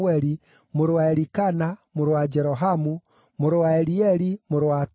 mũrũ wa Elikana, mũrũ wa Jerohamu, mũrũ wa Elieli, mũrũ wa Toa,